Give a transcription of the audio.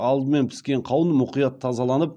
алдымен піскен қауын мұқият тазаланып